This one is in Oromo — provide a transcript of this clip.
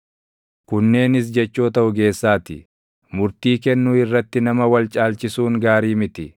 Kunneenis jechoota ogeessaa ti: Murtii kennuu irratti nama wal caalchisuun gaarii miti: